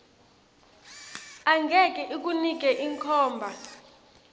angeke ikunike inkhomba